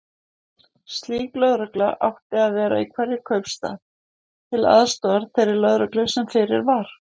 Slík lögregla átti að vera í hverjum kaupstað, til aðstoðar þeirri lögreglu sem fyrir var.